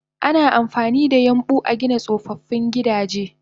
Ana amfanida yambu agina tsofaffin gida